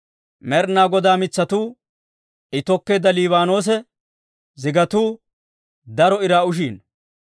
Med'inaa Godaa mitsatuu, I tokkeedda Liibaanoosa zigatuu, daro iraa ushiino.